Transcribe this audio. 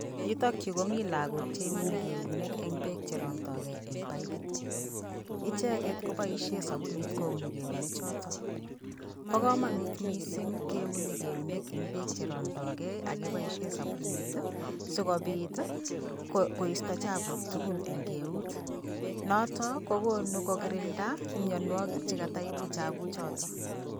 Yutok yu komii lagok Che' uni keunek eng' peek cherondoi gei eng' paipit echeket kopaishe sabunit ko'iuni keunek chotok. Po komanut mising' keuni keunek eng' peek cherondoi gei agepoishe sabunit sikopit koisto chapuk tugul eng' keut notok kogonu kogirinda imyanwagik chekata ibu chapuk chotok.